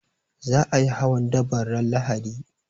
Za a yi hawan daban ran Lahadi